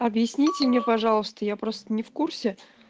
объясните мне пожалуйста я просто не в курсе